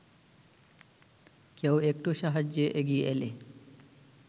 কেউ একটু সাহায্যে এগিয়ে এলে